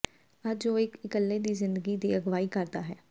ਅੱਜ ਉਹ ਇੱਕ ਇਕੱਲੇ ਦੀ ਜ਼ਿੰਦਗੀ ਦੀ ਅਗਵਾਈ ਕਰਦਾ ਹੈ